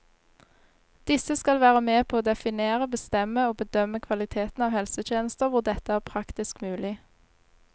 Disse skal være med på å definere, bestemme og bedømme kvaliteten av helsetjenester hvor dette er praktisk mulig.